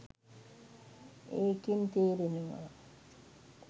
ඒකෙන් තේරෙනවා